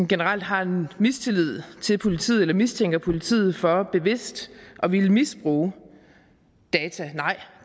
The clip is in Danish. generelt har en mistillid til politiet eller mistænker politiet for bevidst at ville misbruge data nej